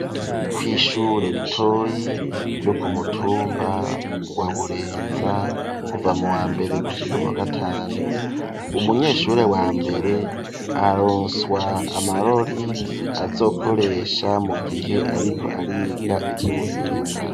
Kw'ishure ritoyi ryo kumutumba wa Burenza kuva mu wa mbere gushika muwagatanu umunyeshure wa mbere aronswa amarori azokoresha mu gihe ariko ariga ivy'ubuhinga.